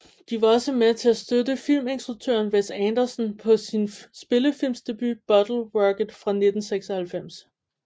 De var også med til at støtte filminstruktøren Wes Anderson på sin spillefilmsdebut Bottle Rocket fra 1996